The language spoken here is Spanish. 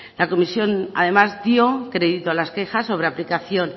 la comisión además dio crédito a las quejas sobre aplicación